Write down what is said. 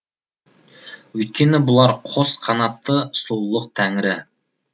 өйткені бұлар қос қанатты сұлулық тәңірі